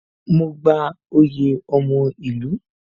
Mo gba oyè ọmọ ìlú